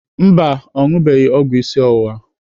Mba, ọ ṅụbeghị ọgwụ isi ọwụwa.